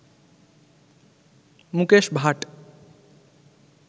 Mukesh Bhatt